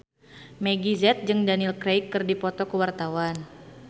Meggie Z jeung Daniel Craig keur dipoto ku wartawan